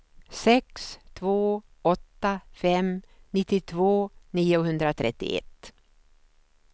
sex två åtta fem nittiotvå niohundratrettioett